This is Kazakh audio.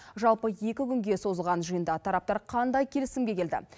жалпы екі күнге созылған жиында тараптар қандай келісімге келді